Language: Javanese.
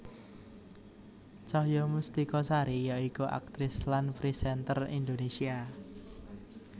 Cahaya Mustika Sari ya iku aktris lan presenter Indonésia